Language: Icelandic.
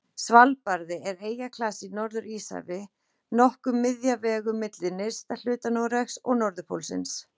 Svalbarði er eyjaklasi í Norður-Íshafi, nokkuð miðja vegu milli nyrsta hluta Noregs og norðurpólsins.